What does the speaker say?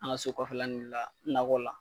An ka so kɔfɛla nunnu la nakɔ la.